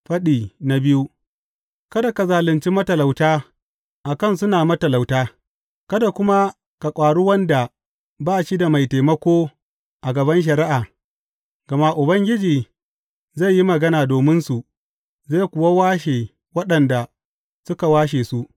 Faɗi biyu Kada ka zalunci matalauta a kan suna matalauta kada kuma ka ƙwari wanda ba shi da mai taimako a gaban shari’a, gama Ubangiji zai yi magana dominsu zai kuwa washe waɗanda suka washe su.